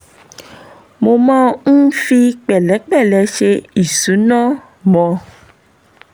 mo máa ń fi pẹ̀lẹ́pẹ̀lẹ́ ṣe ìṣúná mo